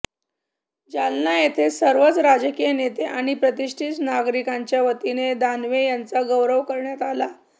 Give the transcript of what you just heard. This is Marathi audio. जालना येथे सर्वच राजकीय नेते आणि प्रतिष्ठीत नागरिकांच्या वतीने दानवे यांचा गौरव करण्यात आला